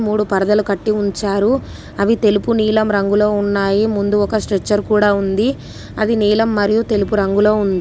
మూడు పరదలు కట్టి ఉంచారు. అవి తెలుపు నీలం రంగులో ఉన్నాయి. ముందు ఒక స్ట్రెచ్చర్ కూడా ఉంది. అది నీలం మరియు తెలుపు రంగులో ఉంది.